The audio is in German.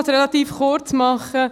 Ich kann es relativ kurz machen.